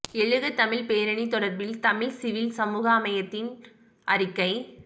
எழுக தமிழ் பேரணி தொடர்பில் தமிழ் சிவில் சமூக அமையத்தின் அறிக்கை